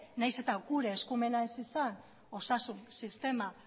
nahiz eta gure eskumena ez izan osasun sistema